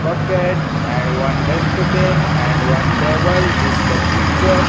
bucket and one dustbin and one table this the picture.